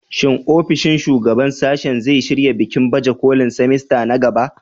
Shin ofishin shugaban sashe zai shirya bikin baje kolin semester na gaba?